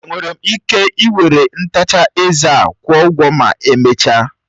Enwere m ike ị were ntacha eze a kwụọ ụgwọ ma emechaa.